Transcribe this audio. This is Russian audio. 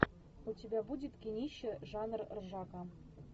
у тебя будет кинище жанр ржака